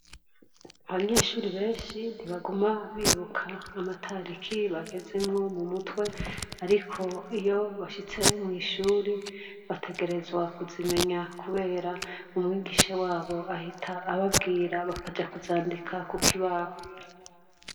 Abanyeshure benshi ntibaguma bibuka amatariki bagezemwo mu mutwe. Ariko iyo bashitse mw'ishuri bategerezwa kuzimenya, kubera umwigisha wabo ahita ababwira bakaja kuzandika ku kibaho.